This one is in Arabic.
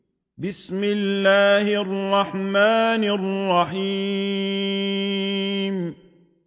بِسْمِ اللَّهِ الرَّحْمَٰنِ الرَّحِيمِ